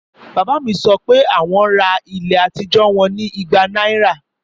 Bàbá mi sọ pé wọn ra ilé àtijọ́ wọn ní igba náírà